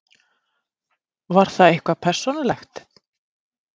Var það eitthvað persónulegt?